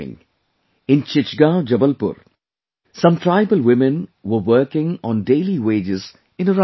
In Chichgaon, Jabalpur, some tribal women were working on daily wages in a rice mill